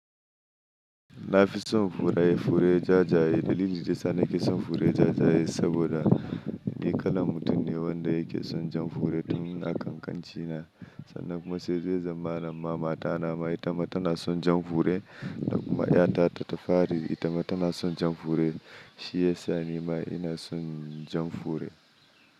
Na fi son fure fure ja jaye. Dalilin da ya sa nake son fure ja jaye saboda ni kalan mutum ne wanda yake son jan fure tun a kan kanci na. Sannan kuma sai yazo zamana ma mata na ma ita ma tana son jan fure. Kuma yata ta fari ita ma tana son jan fure. Shi yasa ni ma ina son jan fure.